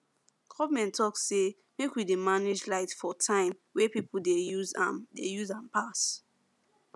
government talk say make we dey manage light for time wey people dey use am dey use am pass